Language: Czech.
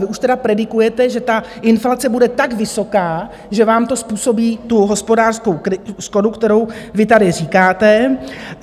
Vy už tedy predikujete, že ta inflace bude tak vysoká, že vám to způsobí tu hospodářskou škodu, kterou vy tady říkáte.